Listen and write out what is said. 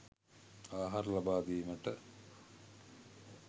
ආහාර ලබාදීමට